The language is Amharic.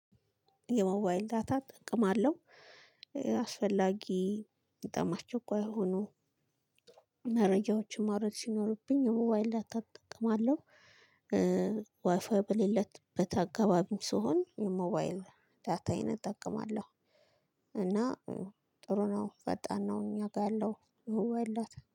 የሞባይል ዳታ ጥቅም አለው አስፈላጊ በጣም አስቸኳይ ሆኖ መረጃዎችን ማውረድ ሲኖርብኝ የሞባይል ዳታ እጠቅማለሁ። ዋይፋይ በሌለበት አካባቢም ስሆን የሞባይል ዳታይን እጠቀማለሁ። እና ጥሩ ነው ፈጣን ነው። እኛ ጋር ያለው የሞባይል ዳታ